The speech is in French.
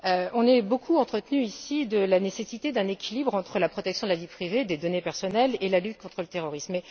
On s'est beaucoup entretenu, ici, de la nécessité d'un équilibre entre la protection de la vie privée et des données personnelles et la lutte contre le terrorisme.